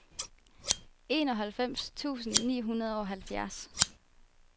enoghalvfems tusind ni hundrede og halvfjerds